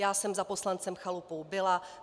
Já jsem za poslancem Chalupou byla.